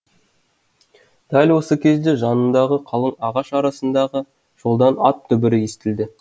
дәл осы кезде жанындағы қалың ағаш арасындағы жолдан ат дүбірі естілді